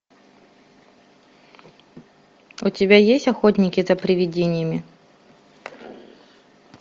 у тебя есть охотники за привидениями